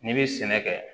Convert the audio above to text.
N'i bɛ sɛnɛ kɛ